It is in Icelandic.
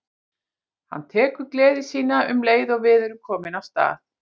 Hann tekur gleði sína um leið og við erum komin af stað.